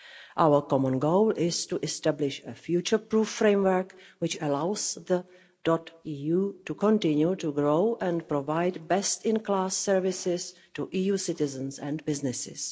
Our common goal is to establish a future-proof framework, which allows the .eu to continue to grow and provide best-in-class services to EU citizens and businesses.